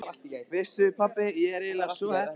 Veistu pabbi, ég er eiginlega svo heppin.